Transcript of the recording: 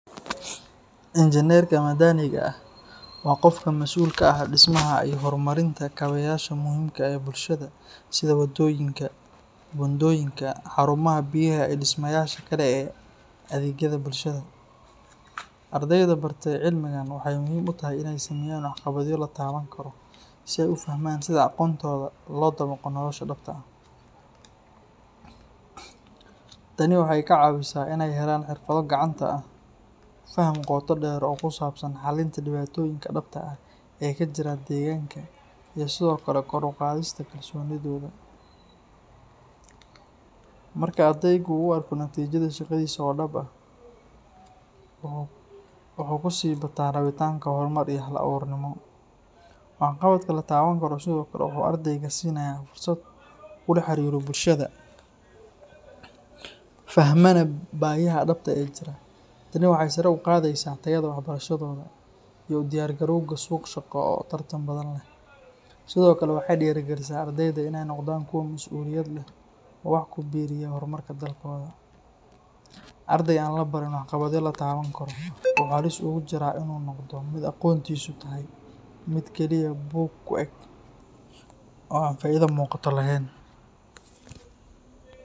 Injineerka madaniga ah waa qofka mas’uulka ka ah dhismaha iyo horumarinta kaabeyaasha muhiimka u ah bulshada sida wadooyinka, buundooyinka, xarumaha biyaha iyo dhismayaasha kale ee adeegyada bulshada. Ardayda bartay cilmigan waxay muhiim u tahay inay sameeyaan waxqabadyo la taaban karo si ay u fahmaan sida aqoontooda loo dabaqo nolosha dhabta ah. Tani waxay ka caawisaa inay helaan xirfado gacanta ah, faham qoto dheer oo ku saabsan xalinta dhibaatooyinka dhabta ah ee ka jira deegaanka iyo sidoo kale kor u qaadista kalsoonidooda. Marka ardaygu uu arko natiijada shaqadiisa oo dhab ah, waxaa ku sii bata rabitaanka horumar iyo hal-abuurnimo. Waxqabadka la taaban karo sidoo kale wuxuu ardayga siinayaa fursad uu kula xiriiro bulshada, fahmana baahiyaha dhabta ah ee jira. Tani waxay sare u qaadaysaa tayada waxbarashadooda iyo u diyaargarowgooda suuq shaqo oo tartan badan leh. Sidoo kale waxay dhiirrigelisaa ardayda inay noqdaan kuwo mas’uuliyad leh oo wax ku biiriya horumarka dalkooda. Arday aan la barin waxqabadyo la taaban karo wuxuu halis ugu jiraa inuu noqdo mid aqoontiisu tahay mid keliya buug ku eg oo aan faa’iido muuqata lahayn.